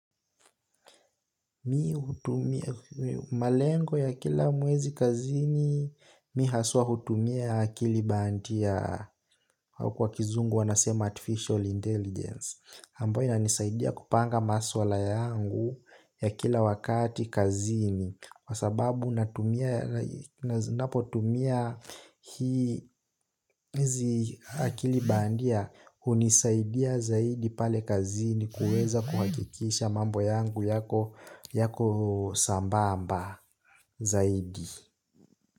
Mi utumia malengo ya kila mwezi kazini mi haswa hutumia kilibandia kwa kizungu wanasema artificial intelligence ambayo inisaidia kupanga maswala yangu ya kila wakati kazini. Wasababu napotumia hizi akilibandia unisaidia zaidi pale kazini kueza kuhakikisha mambo yangu yako sambamba zaidi.